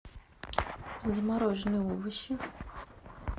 замороженные овощи